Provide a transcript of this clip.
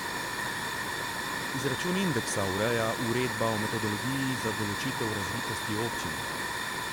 Izračun indeksa ureja uredba o metodologiji za določitev razvitosti občin.